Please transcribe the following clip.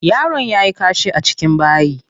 Yaron yayi kashi a cikin bayi.